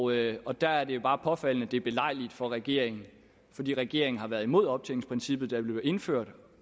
regler der er det bare påfaldende at det er belejligt for regeringen fordi regeringen har været imod optjeningsprincippet da det blev indført